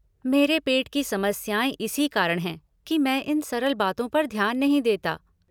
मेरे पेट की समस्याएँ इसी कारण हैं कि मैं इन सरल बातों पर ध्यान नहीं देता।